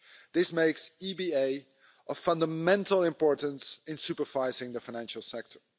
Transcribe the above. This makes the EBA of fundamental importance in supervising the financial sector.